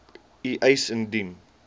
u eis indien